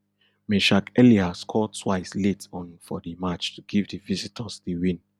meschack elia score twice late on for di match to give di visitors di win